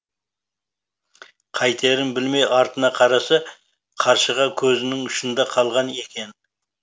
қайтерін білмей артына қараса қаршыға көзінің ұшында қалған екен